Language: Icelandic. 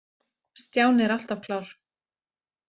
Stjáni er alltaf klár.